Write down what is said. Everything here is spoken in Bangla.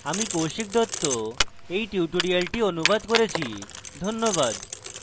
আমি কৌশিক দত্ত এই টিউটোরিয়ালটি অনুবাদ করেছি যোগাযোগের জন্য ধন্যবাদ